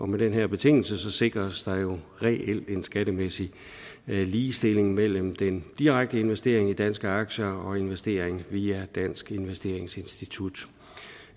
med den her betingelse sikres der jo reelt en skattemæssig ligestilling mellem den direkte investering i danske aktier og investering via danske investeringsinstitutter